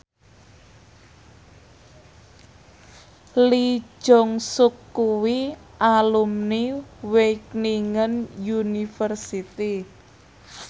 Lee Jeong Suk kuwi alumni Wageningen University